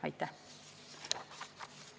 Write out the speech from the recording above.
Aitäh!